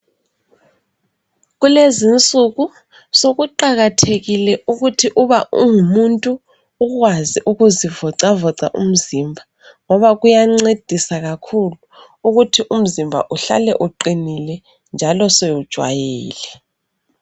Kulezi insuku, sokuqakathekile ukuthi ma ungumuntu, ukwazi ukuzivoca voca umzimba. ngoba kuyancedisa kakhulu ukuthi umzimba uhlale uqinile njalo sewujwayele.